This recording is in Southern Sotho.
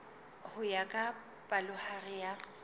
ho ya ka palohare ya